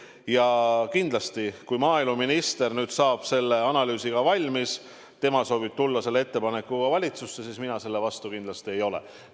Ja kindlasti, kui maaeluminister saab selle analüüsiga valmis, siis ta soovib tulla selle ettepanekuga valitsusse ja mina selle vastu kindlasti ei ole.